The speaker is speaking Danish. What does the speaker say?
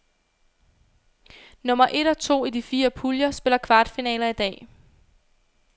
Nummer et og to i de fire puljer spiller kvartfinaler i dag.